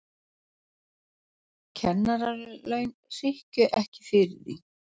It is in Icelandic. Kennaralaun hrykkju ekki fyrir því.